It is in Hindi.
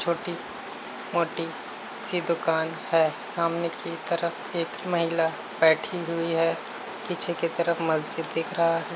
छोटी मोटी सी दुकान है। सामने की तरफ एक महिला बैठी है। पीछे की तरफ मस्जिद दिख रहा है।